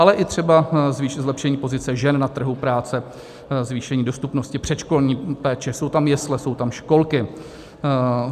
Ale i třeba zlepšení pozice žen na trhu práce, zvýšení dostupnosti předškolní péče, jsou tam jesle, jsou tam školky.